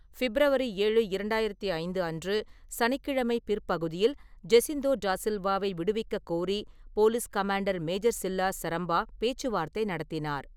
February ஏழு, இரண்டாயிரத்தி ஐந்து அன்று, சனிக்கிழமை பிற்பகுதியில் ஜெசிண்தோ டா சில்வாவை விடுவிக்கக் கோரி police commander major Silas Sarampa பேச்சுவார்த்தை நடத்தினார்.